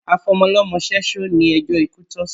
Afọmọlọ́mọ ṣẹ́ṣó ni ẹjó ikú tọ́ sí